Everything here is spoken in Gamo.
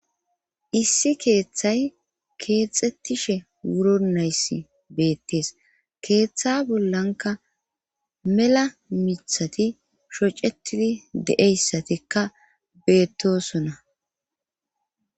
issi keeththay keexxettishe wuro naysi beettees. keeththa bollankka mela miiththati shocetidi de'eyssatikka beettosona.